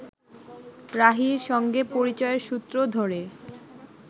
রাহীর সঙ্গে পরিচয়ের সূত্র ধরে